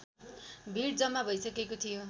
भिड जम्मा भइसकेको थियो